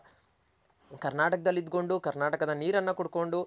ಕರ್ನಾಟಕದಲ್ ಇಟ್ಕೊಂಡ್ ಕರ್ನಾಟಕದ್ ನೀರನ್ ಕುಡ್ಕೊಂಡ್